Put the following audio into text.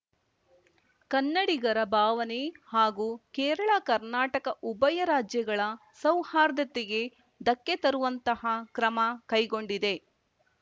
ಕನ್ನಡಿಗರ ಭಾವನೆ ಹಾಗೂ ಕೇರಳಕರ್ನಾಟಕ ಉಭಯ ರಾಜ್ಯಗಳ ಸೌಹಾರ್ದತೆಗೆ ಧಕ್ಕೆ ತರುವಂತಹ ಕ್ರಮ ಕೈಗೊಂಡಿದೆ